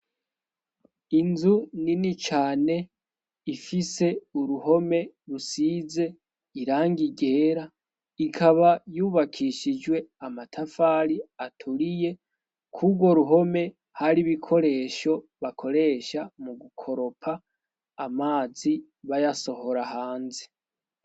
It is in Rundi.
Inzu ni ni cane ifise uruhome rusize iranga igera ikaba yubakishijwe amatafari aturiye kurwo ruhome hari ibikoresho bakoresha mu gukoropa amazi bayasohoraha anzi.